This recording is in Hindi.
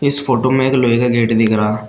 इस फोटो में एक लोहे का गेट दिख रहा--